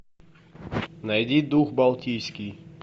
найди дух балтийский